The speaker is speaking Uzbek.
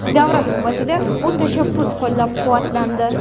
Davra suhbatida bu tashabbus qo‘llab-quvvatlandi.